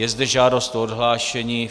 Je zde žádost o odhlášení.